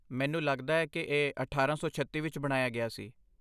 ਮੈਨੂੰ ਲੱਗਦਾ ਹੈ ਕਿ ਇਹ ਅਠਾਰਾਂ ਸੌ ਛੱਤੀ ਵਿੱਚ ਬਣਾਇਆ ਗਿਆ ਸੀ